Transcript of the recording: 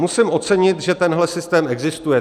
Musím ocenit, že tenhle systém existuje.